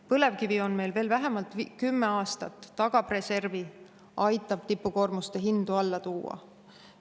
Põlevkivi on meil veel vähemalt kümme aastat, tagab reservi, aitab tipukoormuste hindu alla tuua.